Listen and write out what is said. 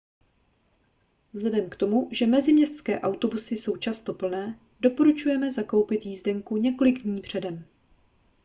vzhledem k tomu že meziměstské autobusy jsou často plné doporučujeme zakoupit jízdenku několik dní předem